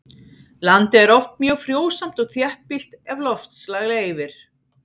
Landið er oft mjög frjósamt og þéttbýlt ef loftslag leyfir.